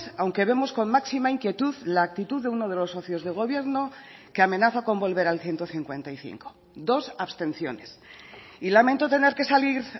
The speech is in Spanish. aunque vemos con máxima inquietud la actitud de uno de los socios de gobierno que amenaza con volver al ciento cincuenta y cinco dos abstenciones y lamento tener que salir